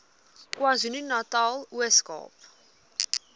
kwazulunatal ooskaap